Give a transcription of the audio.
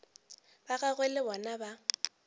ba gagwe le bona ba